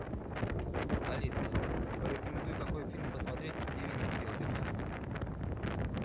алиса порекомендуй какой фильм посмотреть стивена спилберга